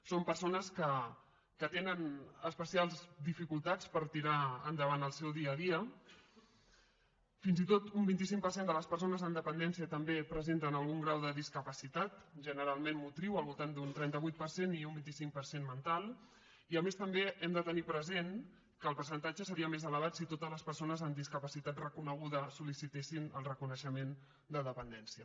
són persones que tenen especials dificultats per tirar endavant el seu dia a dia fins i tot un vint cinc per cent de les persones amb dependència també presenten algun grau de discapacitat generalment motriu al voltant d’un trenta vuit per cent i un vint cinc per cent mental i a més també hem de tenir present que el percentatge seria més elevat si totes les persones amb discapacitat reconeguda sol·licitessin el reconeixement de dependència